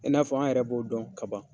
I n'a fɔ? an yɛrɛ b'o dɔn kaban.